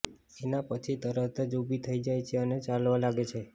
એના પછી તરત જ ઉભી થઈ જાય છે અને ચાલવા લાગે છે